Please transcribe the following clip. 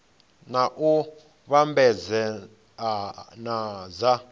na u vhambedzea na dza